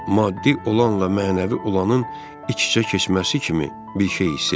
Maddi olanla mənəvi olanın iç-içə keçməsi kimi bir şey hiss etdim.